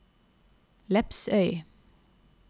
Lepsøy